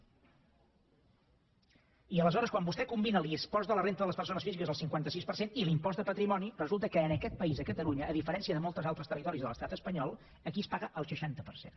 i aleshores quan vostè combina l’impost de la renda de les persones físiques al cinquanta sis per cent i l’impost de patrimoni resulta que en aquest país a catalunya a diferència de molts altres territoris de l’estat espanyol aquí es paga el seixanta per cent